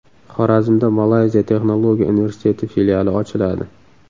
Xorazmda Malayziya Texnologiya universiteti filiali ochiladi.